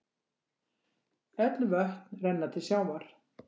Öll vötn renna til sjávar.